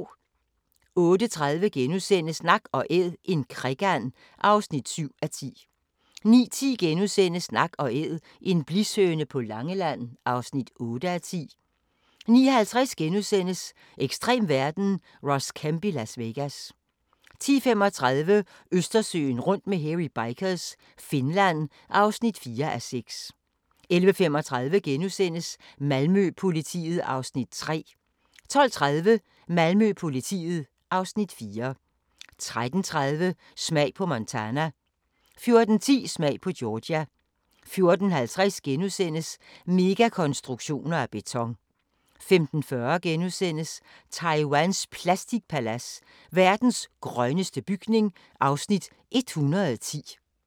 08:30: Nak & Æd – en krikand (7:10)* 09:10: Nak & æd - En blishøne på Langeland (8:10)* 09:50: Ekstrem verden – Ross Kemp i Las Vegas * 10:35: Østersøen rundt med Hairy Bikers – Finland (4:6) 11:35: Malmø-politiet (Afs. 3)* 12:30: Malmø-politiet (Afs. 4) 13:30: Smag på Montana 14:10: Smag på Georgia 14:50: Megakonstruktioner af beton * 15:40: Taiwans plastikpalads: Verdens grønneste bygning (Afs. 110)*